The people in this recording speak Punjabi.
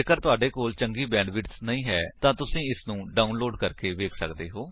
ਜੇਕਰ ਤੁਹਾਡੇ ਕੋਲ ਚੰਗੀ ਬੈਂਡਵਿਡਥ ਨਹੀਂ ਹੈ ਤਾਂ ਤੁਸੀ ਇਸਨੂੰ ਡਾਉਨਲੋਡ ਕਰਕੇ ਵੇਖ ਸੱਕਦੇ ਹੋ